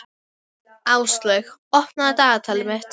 Áslaug, opnaðu dagatalið mitt.